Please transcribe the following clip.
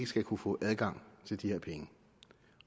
skal kunne få adgang til de her penge